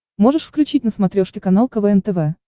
можешь включить на смотрешке канал квн тв